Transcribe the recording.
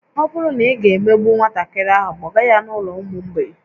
Ọ bụrụ na ị ga-emegbu nwatakịrị ahụ, kpọga ya n'ụlọ ụmụ mgbei